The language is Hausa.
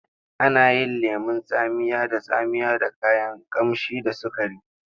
Ana yin lemon tsamiya da tsamiya da kayan ƙamshi da sukari.